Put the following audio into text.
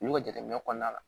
Olu ka jateminɛ kɔnɔna la